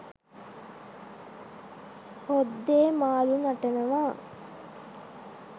හොද්දේ මාළු නටනවා